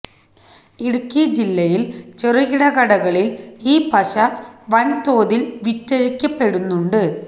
ഇടുക്കി ജില്ലയിൽ ചെറുകിട കടകളിൽ ഈ പശ വൻതോതിൽ വിറ്റഴിക്കപ്പെടുന്നുണ്ട്